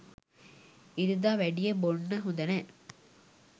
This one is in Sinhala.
ඉරිදා වැඩිය බොන්න හොඳ නෑ